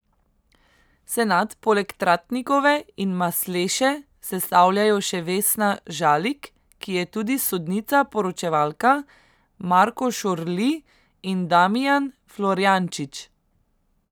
Senat poleg Tratnikove in Masleše sestavljajo še Vesna Žalik, ki je tudi sodnica poročevalka, Marko Šorli in Damijan Florjančič.